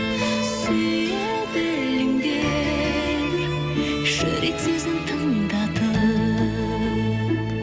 сүйе біліңдер жүрек сезім тыңдатып